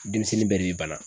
Denmisɛnnin bɛɛ de bi bana.